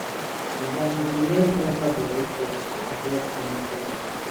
dem dey wear cover body cloth to avoid chemical wahala